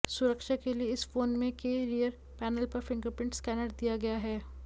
सुरक्षा के लिए इस फोन में के रियर पैनल पर फिंगरप्रिंट स्कैनर दिया गया है